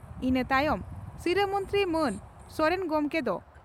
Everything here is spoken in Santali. ᱤᱱᱟᱹ ᱛᱟᱭᱚᱢ ᱥᱤᱨᱟᱹ ᱢᱚᱱᱛᱨᱤ ᱢᱟᱱ ᱥᱚᱨᱮᱱ ᱜᱚᱢᱠᱮ ᱫᱚ